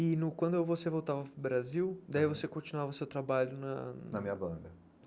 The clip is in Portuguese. E no quando você voltava para o Brasil, daí você continuava o seu trabalho na... Na minha banda.